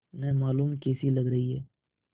न मालूम कैसी लग रही हैं